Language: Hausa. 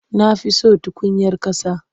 Na siyo tukunyar ƙasa.